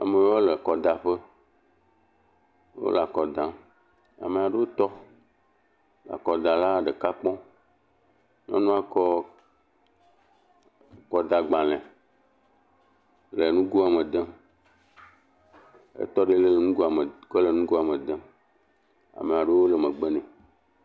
Amewo le akɔdaƒe wole akɔ dam, amewo tɔ, akɔdala ɖeka kɔ, nyɔnua kɔ akɔdagbalẽ le nugoe me dem, etɔ ɖe nugoa me le nugoa me dem.